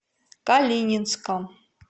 калининском